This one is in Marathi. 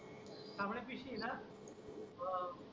सामान पिशवी का बरं